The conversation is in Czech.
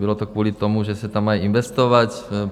Bylo to kvůli tomu, že se tam má investovat.